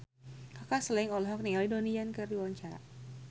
Kaka Slank olohok ningali Donnie Yan keur diwawancara